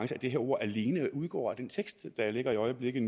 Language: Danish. det her ord alene udgår af den tekst der ligger i øjeblikket